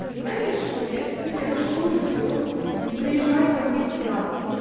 ты знаешь что я теперь я очкую все не приезжай ко мне сюда